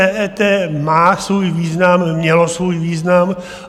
EET má svůj význam, mělo svůj význam.